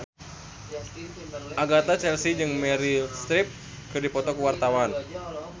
Agatha Chelsea jeung Meryl Streep keur dipoto ku wartawan